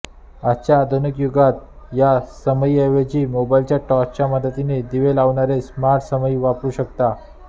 आजच्या आधुनिक युगात या समईऐवजी मोबाईल टॉर्चच्या मदतीने दिवे लावणारे स्मार्ट समई वापरू शकतो